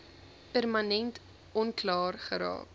permanent onklaar geraak